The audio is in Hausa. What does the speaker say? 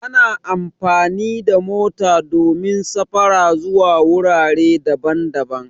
Ana amfani da mota domin safara zuwa wurare daban-daban